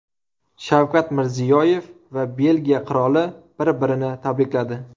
Shavkat Mirziyoyev va Belgiya qiroli bir-birini tabrikladi.